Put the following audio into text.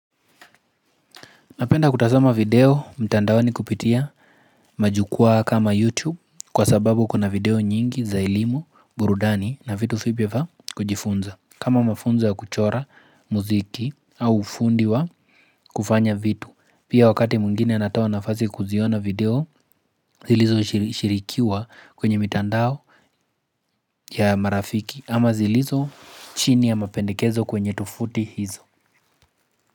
Napenda kutasama video mtandaoni kupitia majukwaa kama YouTube kwa sababu kama video nyingi za ilimu, burudani na vitu vipya va kujifunza. Kama mafunzo ya kuchora muziki au ufundi wa kufanya vitu. Pia wakati mungine anatawa nafazi kuziona video zilizo shirikiwa kwenye mtandao ya marafiki ama zilizo chini ya mapendikezo kwenye tofuti hizo.